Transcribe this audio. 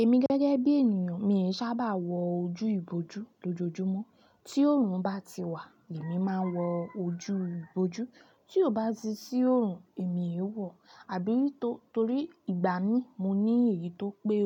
Emi gẹ́gẹ́ bi ènìyàn, mii sábà wo ojú iboju lojoojumo tí oòrùn bá ti wà, èmi máa ń wọ ojú ìbojú. Tí ó bá ti sí oòrùn, èmi ò wọ̀, àbí tó torí ìgbà mí mo ní èyí tó pé